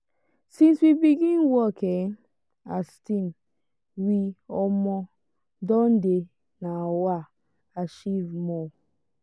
since we begin work um as team we um don dey um achieve more.